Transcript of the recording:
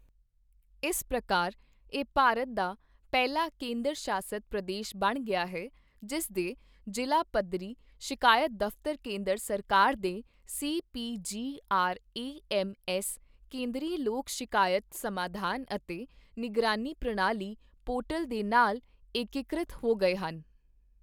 ਇਸ ਪ੍ਰਕਾਰ ਇਹ ਭਾਰਤ ਦਾ ਪਹਿਲਾ ਕੇਂਦਰ ਸ਼ਾਸਿਤ ਪ੍ਰਦੇਸ਼ ਬਣ ਗਿਆ ਹੈ, ਜਿਸ ਦੇ ਜ਼ਿਲ੍ਹਾ ਪੱਧਰੀ ਸ਼ਿਕਾਇਤ ਦਫ਼ਤਰ ਕੇਂਦਰ ਸਰਕਾਰ ਦੇ ਸੀਪੀਜੀਆਰਏਐੱਮਐੱਸ ਕੇਂਦਰੀ ਲੋਕ ਸ਼ਿਕਾਇਤ ਸਮਾਧਾਨ ਅਤੇ ਨਿਗਰਾਨੀ ਪ੍ਰਣਾਲੀ ਪੋਰਟਲ ਦੇ ਨਾਲ ਏਕਕ੍ਰਿਤ ਹੋ ਗਏ ਹਨ।